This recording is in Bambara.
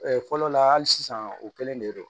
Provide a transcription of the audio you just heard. fɔlɔ la hali sisan u kelen de don